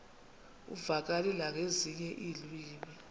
uvakale nangezinye iilwimi